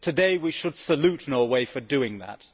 Today we should salute Norway for doing that.